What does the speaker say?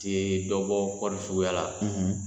tɛ dɔbɔ kɔɔri suguya la